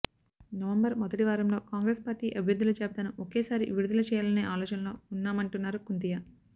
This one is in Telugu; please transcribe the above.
నవంబర్ మొదటి వారంలో కాంగ్రెస్ పార్టీ అభ్యర్ధుల జాబితాను ఒకేసారి విడుదల చేయాలనే అలోచనలో ఉన్నామంటున్నారు కుంతియా